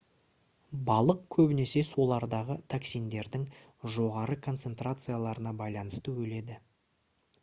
балық көбінесе сулардағы токсиндердің жоғары концентрацияларына байланысты өледі